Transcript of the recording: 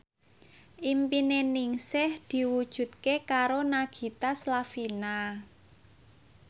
impine Ningsih diwujudke karo Nagita Slavina